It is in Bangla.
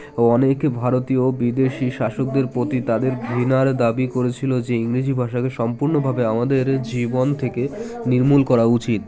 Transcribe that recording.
ও অনেক ভারতীয় বিদেশী শাসকদের প্রতি তাদের ঘৃণার দাবি করেছিল যে ইংরেজি ভাষাকে সম্পুর্ন ভাবে আমাদের জীবন থেকে নির্মুল করা উচিত